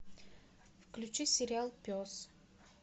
включи сериал пес